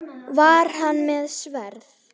Var hann með sverð?